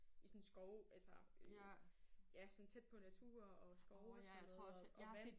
I sådan en skov altså øh ja sådan tæt på natur og skov og sådan noget og og vand